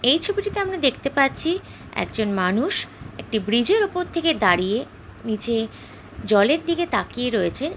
এই ছবিটিতে আমরা দেখতে পাচ্ছি একজন মানুষ একটি ব্রিজের ওপর থেকে দাঁড়িয়ে নিচে জলের দিকে তাকিয়ে রয়েছেন।